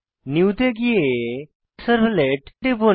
new তে গিয়ে servlet টিপুন